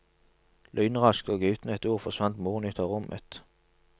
Lynraskt og uten et ord forsvant moren ut av rommet.